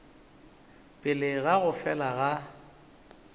pele ga go fela ga